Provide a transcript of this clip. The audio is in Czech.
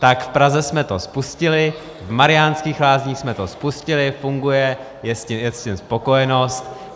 Tak v Praze jsme to spustili, v Mariánských Lázních jsme to spustili, funguje, je s tím spokojenost.